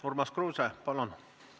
Urmas Kruuse, palun!